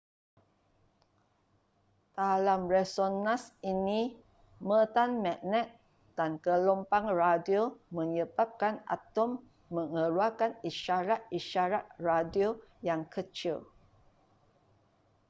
dalam resonans ini medan magnet dan gelombang radio menyebabkan atom mengeluarkan isyarat-isyarat radio yang kecil